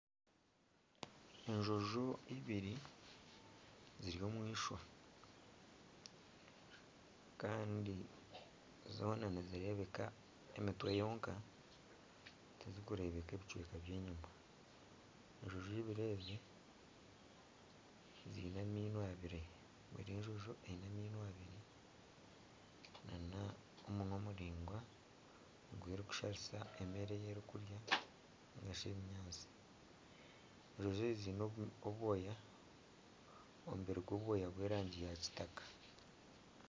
Enjojo ibiri ziri omu ishwa kandi zoona nizirebeka emitwe yonka tizirikureebekwa ebicweka byenyima, enjojo ibiri ezi ziine amaino abiri, buri njojo eine amaino abiri nana omunwa muraingwa ogu erikusharisa emere ei erikurya ningashi ebinyaatsi, enjojo ezi ziine obwoya omubiri gw'obwoya gw'erangi ya kitaka